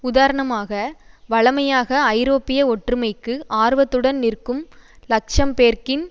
உதாரணமாக வழமையாக ஐரோப்பிய ஒற்றுமைக்கு ஆர்வத்துடன் நிற்கும் லக்சம்பேர்க்கின்